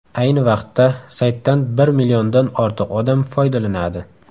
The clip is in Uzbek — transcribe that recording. Ayni vaqtda saytdan bir milliondan ortiq odam foydalanadi.